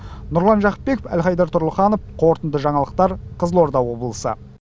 нұрлан жақыпбеков әлхайдар тұрлыханов қорытынды жаңалықтар қызылорда облысы